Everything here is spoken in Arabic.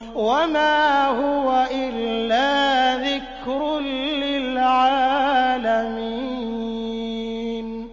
وَمَا هُوَ إِلَّا ذِكْرٌ لِّلْعَالَمِينَ